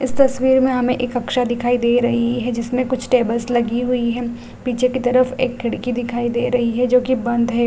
इस तस्वीर में हमे एक अक्ष दिखाई दे रही है जिसमें कुछ टेबल्स लगी हुई है पीछे की तरफ एक खिड़की दिखाई दे रही है जो की बंद है।